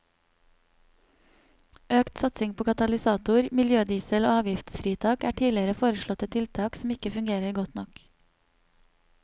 Økt satsing på katalysator, miljødiesel og avgiftsfritak er tidligere foreslåtte tiltak som ikke fungerer godt nok.